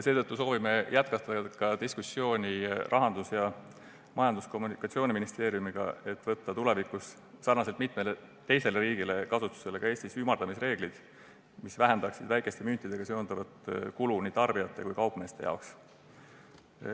Seetõttu soovime jätkata diskussiooni Rahandusministeeriumi ning Majandus- ja Kommunikatsiooniministeeriumiga, et võtta tulevikus sarnaselt mitme teise riigiga ka Eestis kasutusele ümardamisreeglid, mis vähendaksid väikeste müntidega seonduvat kulu nii tarbijate kui ka kaupmeeste jaoks.